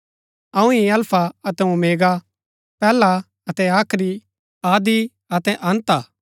अऊँ ही अल्फा अतै ओमेगा पैहला अतै आखरी आदि अतै अन्त हा